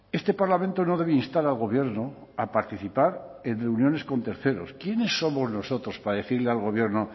este parlamento no debe instar al gobierno a participar en reuniones con terceros quiénes somos nosotros para decirle al gobierno